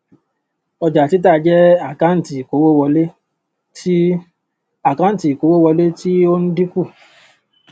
ọjàtítà jẹ àkáǹtì ìkówówọlé ti àkáǹtì ìkówówọlé ti ó ń dínkù